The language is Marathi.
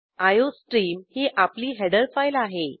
आयोस्ट्रीम ही आपली हेडर फाईल आहे